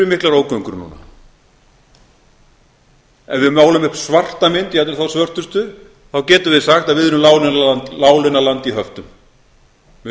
miklar ógöngur núna ef við málum upp svarta mynd jafnvel þá svörtustu þá getum við sagt að við erum láglaunaland í höftum við erum